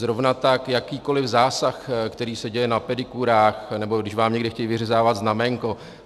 Zrovna tak jakýkoliv zásah, který se děje na pedikúrách, nebo když vám někde chtějí vyřezávat znaménko.